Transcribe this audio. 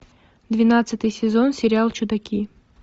двенадцатый сезон сериал чудаки